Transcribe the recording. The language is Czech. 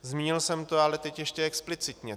Zmínil jsem to, ale teď ještě explicitně.